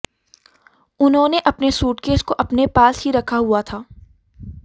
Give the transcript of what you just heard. उन्होंने अपने सूटकेस को अपने पास ही रखा हुआ था